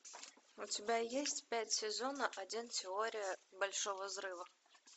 у тебя есть пять сезона один теория большого взрыва